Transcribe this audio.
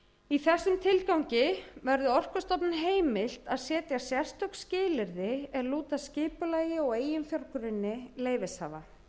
í þessum tilgangi verði orkustofnun heimilt að setja sérstök skilyrði er lúta að skipulagi og eiginfjárgrunni leyfishafa